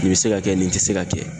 Nin be se ka kɛ ,nin te se ka kɛ.